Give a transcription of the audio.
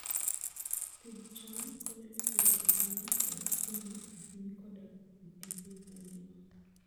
Pidh cham konyo e siro ohala mar chiemo e piny koda e piny mangima.